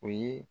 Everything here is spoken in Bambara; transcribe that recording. O ye